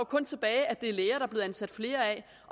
kun tilbage at det er læger der er blevet ansat flere af